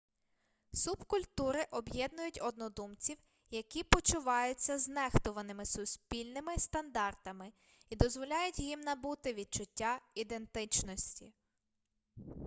субкультури об'єднують однодумців які почуваються знехтуваними суспільними стандартами і дозволяють їм набути відчуття ідентичності